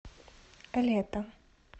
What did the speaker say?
лето